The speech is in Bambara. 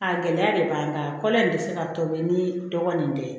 A gɛlɛya de b'an kan kɔl in tɛ se ka tobi ni dɔgɔnin tɛ